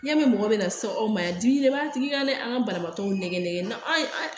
Yanni mɔgɔ bɛna se aw ma yan dimi de b'a tigi kan dɛ an ka banabagatɔw nɛgɛ an